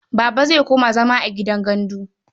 Buba zai koma zama a gidan gandu.